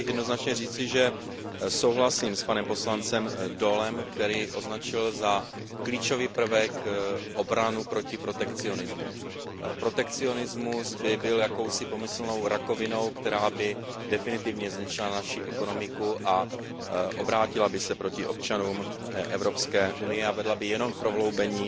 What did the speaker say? Chtěl bych jednoznačně říci, že souhlasím s poslancem Daulem, který označil za klíčový prvek obranu proti protekcionismu. Protekcionismus by byl jakousi pomyslnou rakovinou, která by definitivně zničila naši ekonomiku a obrátila by se proti občanům Evropské unie a vedla by jenom k prohloubení